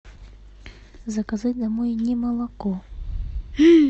заказать домой не молоко